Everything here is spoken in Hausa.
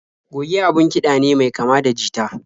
Goge abun kiɗa ne mai kama da jita.